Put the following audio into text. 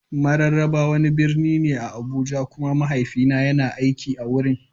Mararaba wani birni ne a Abuja kuma mahaifina yana aiki a wurin.